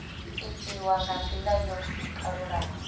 itiwa nga ndila yo kalulaho